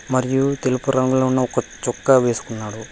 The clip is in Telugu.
మరియు తెలుపు రంగులో ఉన్న ఒక చుక్క వేసుకున్నారు.